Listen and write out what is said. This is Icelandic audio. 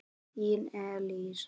Þín Elísa.